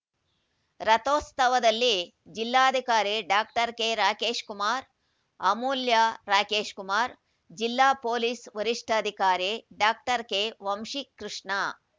ರಥೋತ್ಸವದಲ್ಲಿ ಜಿಲ್ಲಾಧಿಕಾರಿ doctor K Rakesh Kumar ಅಮೂಲ್ಯ ರಾಕೇಶ್‌ಕುಮಾರ್ ಜಿಲ್ಲಾ police ವರಿಷ್ಠಾಧಿಕಾರಿ ಡಾಕ್ಟರ್ ಕೆ ವಂಶಿಕೃಷ್ಣ